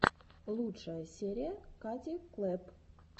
лучшая серия кати клэпп